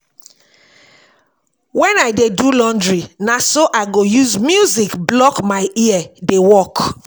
wen I dey do laundry na so I go use music block my ear dey work